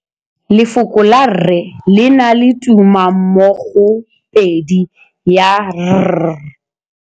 Lefoko la rre, le na le tumammogôpedi ya, r.